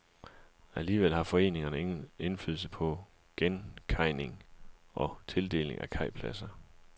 Alligevel har foreningerne ingen indflydelse på genkajning og på tildeling af kajpladser.